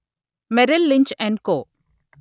Merrill Lynch & co